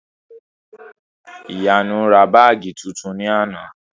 Ìyanu ra báàgì tuntun ní àná